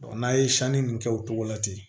n'a ye sanni ninnu kɛ o cogo la ten